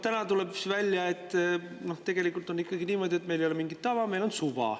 Täna tuleb välja, et tegelikult on ikkagi niimoodi, et meil ei ole mingit tava, meil on suva.